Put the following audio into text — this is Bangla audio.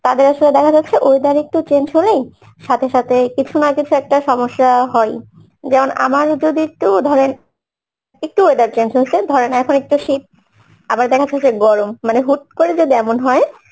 তাদের আসলে দেখা যাচ্ছে, weather একটু change হলেই সাথে সাথে কিছু না কিছু একটা সমস্যা হয় যেমন আমার যদি একটু ধরেন, একটু weather change হয়েছে ধরেন এখন একটু শীত আবার দেখা যাচ্ছে যে গরম মানে হুট করে যদি এমন হয়